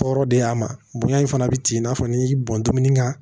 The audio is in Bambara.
Tɔɔrɔ de y'a ma bonya in fana bɛ tigɛ n'a fɔ ni bɔnmini ka